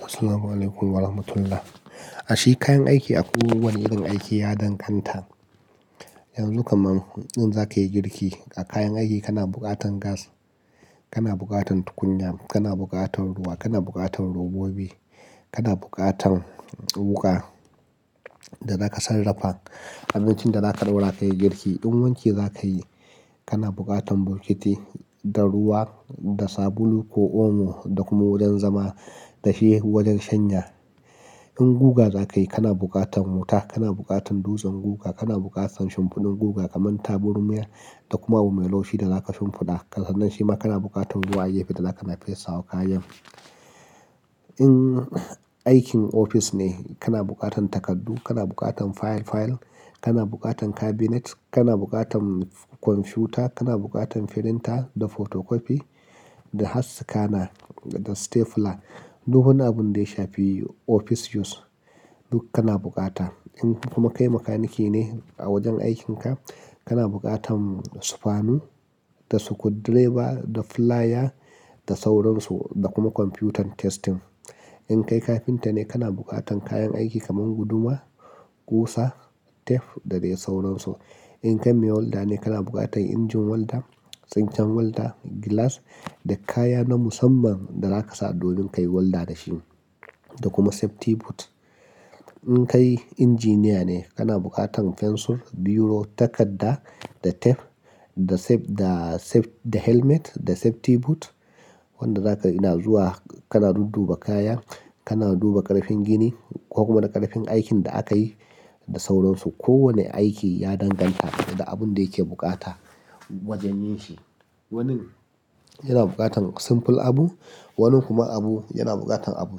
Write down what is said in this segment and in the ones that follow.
Assalamualaikum warahmatullah. Ashe kayan aiki a kowane irin aiki ya danganta. Yanzu kaman in zaka yi girki, a kayan aiki kana bukatan gas, kana bukatan tukunya, kana bukatan ruwa, kana bukatan robobi, kana bukatan wuƙa da zaka sarrafa abincin da zaka ɗora ka yi girki. In wanki za ka yi, kana bukatan bokiti da ruwa da sabulu ko omo da kuma wajen zama da shi wajen shanya. In guga zakai, kana bukatar wuta, kana bukatar dutsen guga, kana bukatar shinfiɗun guga kamar tabarma da kuma abu mai laushi da kaza shinfiɗa sannan kana bukatar ruwa da zaka dinga fesawa kayan. In aikin ofis ne, kana bukatan takardu, kana bukatan file-file, kana bukatan cabinet, kana bukatan kwamfiyuta, kana bukatan printer da photocopy da har scanner da stapler. Duk abunda ya shafi office use duk kana bukata. In kuma kai makaniki ne a wajen aikinka, kana bukatan sufanu da sukudireba da flaya da sauransu da kuma kwamfiyutan testing. In kai kafinta ne, kana bukatan kayan aiki kaman guduma, ƙusa, tef da dai sauransu. In kai mai walda ne, kana bukatan injin walda, tsinkan walda, gilas da kaya na musamman da zaka sa domin ka yi walda dashi da kuma safety boot. In kai injiniya ne, kana bukatan fensir, biro, takadda da tef da safe-- da helmet da safety boot wanda zaka ina zuwa kana dudduba kaya, kana duba ƙarfin gini ko kuma na ƙarfin aikin da akayi da sauransu. Kowane aiki ya danganta da abin da yake bukata wajen yin shi wani yana bukatar simple abu wani kuma abu yana buqatar abu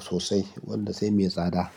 sosai wanda sai me tsada.